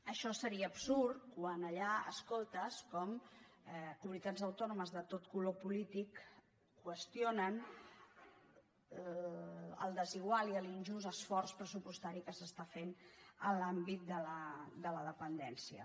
això seria absurd quan allà escoltes com comunitats autònomes de tot color polític qüestionen el desigual i l’injust esforç pressupostari que es fa en l’àmbit de la dependència